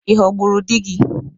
Ị ghọgburu di gị?